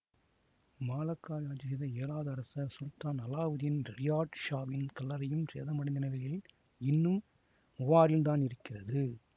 மலாக்காவை ஆட்சி செய்த ஏழாவது அரசர் சுல்தான் அலாவுதீன் ரியாட் ஷாவின் கல்லறையும் சேதம் அடைந்த நிலையில் இன்னும் மூவாரில் தான் இருக்கிறது